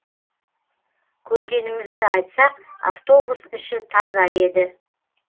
көргенімізді айтсақ автобус іші таза еді